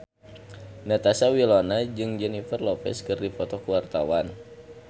Natasha Wilona jeung Jennifer Lopez keur dipoto ku wartawan